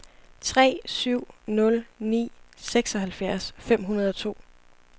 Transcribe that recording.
tre syv nul ni seksoghalvfjerds fem hundrede og to